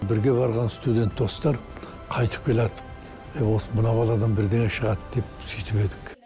бірге барған студент достар қайтып келяттық е осы мынау баладан бірдеңе шығады деп сөйтіп едік